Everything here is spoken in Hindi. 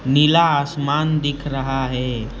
नीला आसमान दिख रहा है।